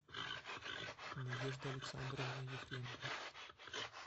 надежда александровна ефремова